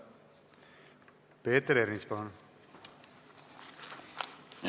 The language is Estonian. Peeter Ernits, palun!